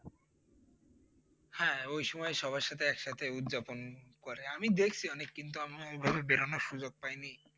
হ্যাঁ ওইসময় সবার সাথে একসাথে উৎযাপন করে আমি দেখছি অনেক কিন্তু আমি ওইভাবে বেরোনোর সুযোগ পাইনি।